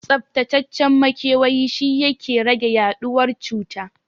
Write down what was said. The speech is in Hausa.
Tsaftacaccen makewayi shi yake rage yaɗuwar cuta